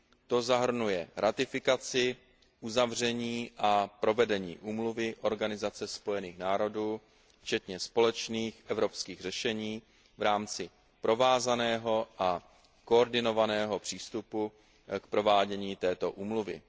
To zahrnuje ratifikaci, uzavření a provedení úmluvy OSN včetně společných evropských řešení v rámci provázaného a koordinovaného přístupu k provádění této úmluvy.